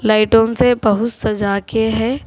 Items ये बहुत सजा के है।